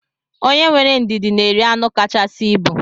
Onye were ndidi na eri anụ kachasị ibu.